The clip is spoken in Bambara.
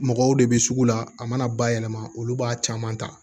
Mɔgɔw de bɛ sugu la a mana ba yɛlɛma olu b'a caman ta